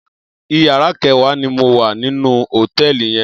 Iyàrâ kèwá ni mó wá ninú hótèlí yèn